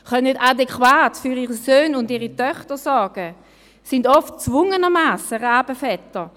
Sie können nicht adäquat für ihre Söhne und Töchter sorgen und sind oft gezwungenermassen Rabenväter.